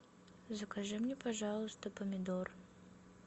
закажи мне пожалуйста помидор